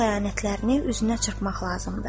Onun xəyanətlərini üzünə çırpmaq lazımdır.